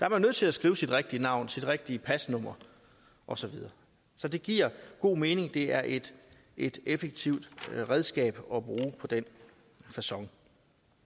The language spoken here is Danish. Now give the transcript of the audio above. er nødt til at skrive sit rigtige navn sit rigtige pasnummer og så videre så det giver god mening det er et et effektivt redskab at bruge på den facon